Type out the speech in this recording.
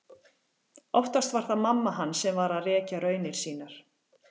Oftast var það mamma hans sem var að rekja raunir sínar.